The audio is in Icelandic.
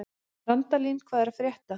Randalín, hvað er að frétta?